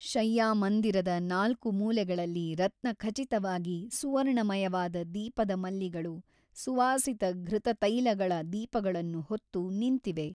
ಶಯ್ಯಾಮಂದಿರದ ನಾಲ್ಕು ಮೂಲೆಗಳಲ್ಲಿ ರತ್ನಖಚಿತವಾಗಿ ಸುವರ್ಣಮಯವಾದ ದೀಪದ ಮಲ್ಲಿಗಳು ಸುವಾಸಿತಘೃತತೈಲಗಳ ದೀಪಗಳನ್ನು ಹೊತ್ತು ನಿಂತಿವೆ.